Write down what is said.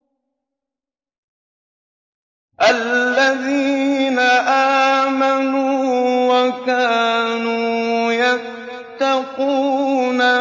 الَّذِينَ آمَنُوا وَكَانُوا يَتَّقُونَ